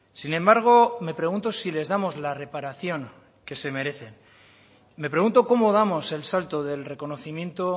sin embargo me pregunto si les damos la reparación que se merecen me pregunto cómo damos el salto del reconocimiento